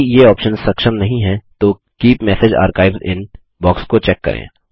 यदि ये आप्शन्स सक्षम नहीं हैं तो keep message archives inbox को चेक करें